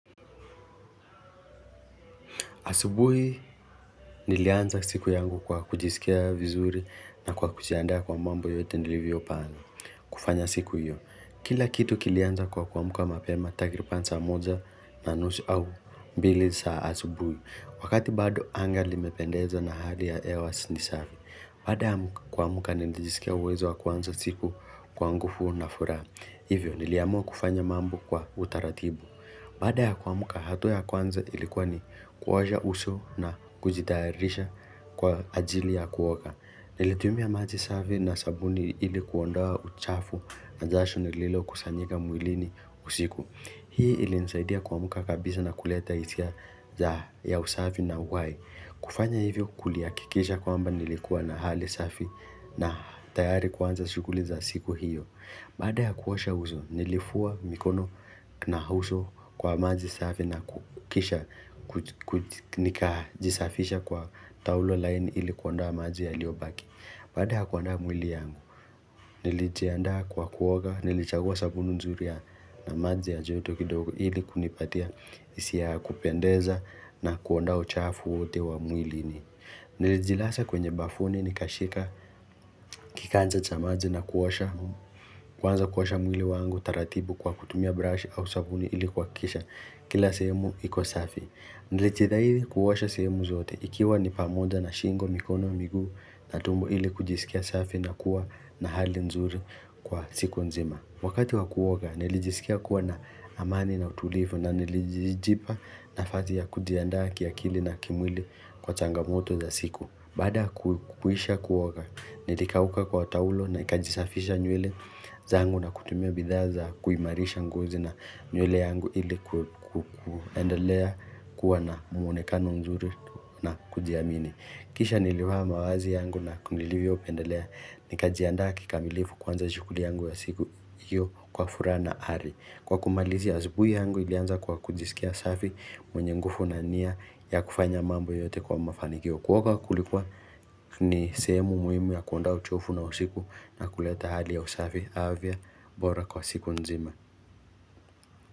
Asubuhi nilianza siku yangu kwa kujisikia vizuri na kwa kujianda kwa mambo yote nilivyopanga kufanya siku hiyo. Kila kitu kilianza kwa kuamka mapema takiriban saa moja na nusu au mbili za asubuhi. Wakati bado anga limependeza na hali ya hewa ni safi. Baada ya kumka nilijisikia uwezo wa kwanza siku kwa nguvu na furaha. Hivyo, niliamua kufanya mambo kwa utaratibu. Baada ya kuamka, hatua ya kwanza ilikuwa ni kuosha uso na kujitayarisha kwa ajili ya kuoga. Nilitumia maji safi na sabuni ilikuondoa uchafu na jasho nililokusanyika mwilini usiku. Hii ilinisaidia kuamka kabisa na kuleta hisia ya usafi na uhai. Kufanya hivyo kulihakikisha kwamba nilikuwa na hali safi na tayari kuanza shughuli za siku hiyo. Baada ya kuosha uso, nilifua mikono na uso kwa maji safi na kukisha, nikajisafisha kwa taulo laini ili kuondoa maji yaliobaki. Baada ya kuondoa mwili yangu, nilijiandaa kwa kuoga, nilichagua sabuni nzuri ya na maji ya joto kidogo ili kunipatia isi ya kupendeza na kuondoa uchafu wote wa mwilini. Nilijilaza kwenye bafuni nikashika Kiganja cha maji na kuosha Kwanza kuosha mwili wangu taratibu kwa kutumia brush au sabuni ilikuhakisha kila sehemu iko safi. Nilijitahidi kuosha sehemu zote, ikiwa ni pamoja na shingo, mikono, miguu na tumbo ili kujisikia safi na kuwa na hali nzuri kwa siku nzima Wakati wakuoga nilijisikia kuwa na amani na utulivu na nilijijipa nafasi ya kujiandaa kiakili na kimwili kwa changamoto za siku Bada kuisha kuoga, nilikauka kwa taulo na nikajisafisha nywele zangu na kutumia bidhaa za kuimarisha ngozi na nywele yangu ili kuendelea kuwa na mwonekano mzuri na kujiamini. Kisha nilivaa mavazi yangu na nilivyo pendelea, nikajianda kikamilifu kuanza shughuli yangu ya siku hiyo kwa furaha na ari. Kwa kumalizia asubuhi yangu ilianza kwa kujisikia safi mwenye nguvu na nia ya kufanya mambo yote kwa mafanikio. Kuoga kulikuwa ni sehemu muhimu ya kuonda uchofu na usiku na kuleta hali ya usafi, afya bora kwa siku nzima.